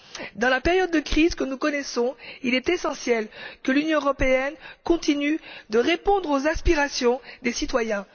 En cette période de crise que nous connaissons, il est essentiel que l'Union européenne continue de répondre aux aspirations des citoyens.